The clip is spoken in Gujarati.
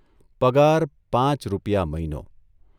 પગાર પાંચ રૂપિયા મહિનો !